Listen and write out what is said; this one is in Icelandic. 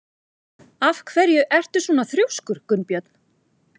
Af hverju ertu svona þrjóskur, Gunnbjörn?